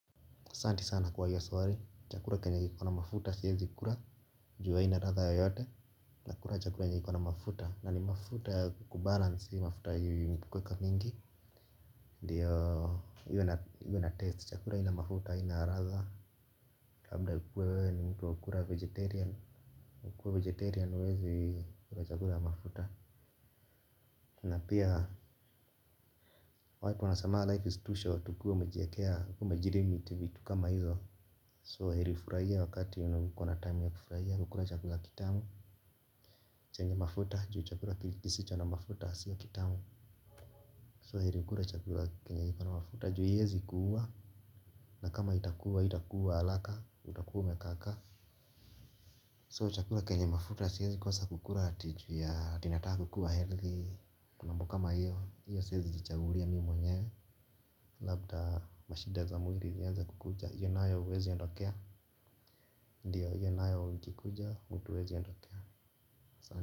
Asante sana kuwa hilo swali, chakula chenye kiko na mafuta, siwezi kula kwa sababu haina ladha yeyote, nakula chakula chenye kiko na mafuta na ni mafuta wastani. Mafuta ilyowekwa mingi. Ndiyo hiyo na ladha, chakula haina mafuta, haina ladha. Labda uwe wewe ni mtu wakula mboga, ukiwa mlaji mboga huwezi kula chakula cha mafuta. Na pia, watu wanasemanga maisha ni mafupi sana ukiwa umejiwekea, umejiwekea mipaka kama hivyo. Kwa hivyo, heri ufurahie wakati ukona wakati ya kufurahia kukula chakula kitamu. Chakula chenye mafuta kwa sababu chakula kisicho na mafuta si kitamu. Kwa hivyo heri kukula chakula chenye kiko na mafuta kwa sababu hakiwezi kukua. Na kama itakua, haitakua haraka. Utakua umekaa kaa. Kwa hivyo chakula chenye mafuta siwezi kosa kukula hati kwa sababu ninataka kukuwa mwenye afya na mambo kama hayo, siwezi kujichagulia mimi mwenyewe. Labda mashidna za mwili zianze kukuja. Hizo nazo huwezi ya kuondokea. Ndiyo, hiyo nayo ikija mtu hawezi iondokea.